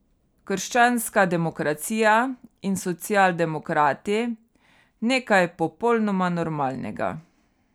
Krščanska demokracija in socialdemokrati, nekaj popolnoma normalnega.